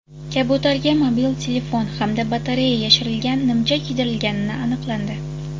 Kabutarga mobil telefon hamda batareya yashirilgan nimcha kiydirilganini aniqlandi.